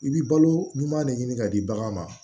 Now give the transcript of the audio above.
I bɛ balo ɲuman de ɲini ka di baganw ma